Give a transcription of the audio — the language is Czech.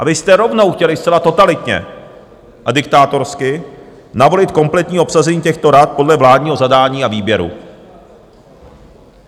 A vy jste rovnou chtěli zcela totalitně a diktátorsky navolit kompletní obsazení těchto rad podle vládního zadání a výběru.